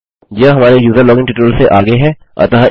यह हमारे user login tutorial से आगे है